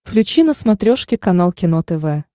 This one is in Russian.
включи на смотрешке канал кино тв